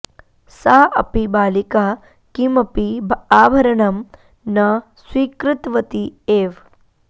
सा अपि बालिका किमपि आभरणं न स्वीकृतवती एव